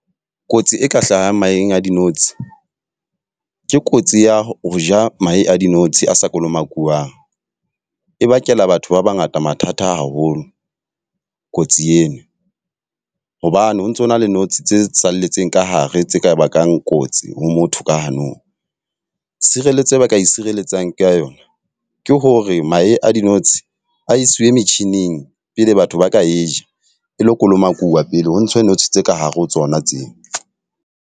Kotsi e ka hlahang maheng a dinotshi, ke kotsi ya ho ja mahe a dinotshi a sa kolomakuwang. E bakela batho ba ba ngata mathata a haholo, kotsi ena hobane ho ntsona le notshi tse salletseng ka hare tse ka bakang kotsi ho motho ka hanong. Sireletso e ba ka e sireletsang ka yona, ke hore mahe a dinotshi a iswe metjhining pele batho ba ka e ja. E lo kolomakuwuwa pele ho ntshwe notshi tse ka hare ho tsona tseo.